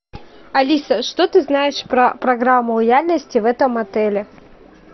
алиса что ты знаешь про программу лояльности в этом отеле